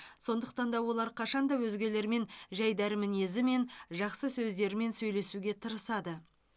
сондықтан да олар қашанда өзгелермен жайдары мінезімен жақсы сөздерімен сөйлесуге тырысады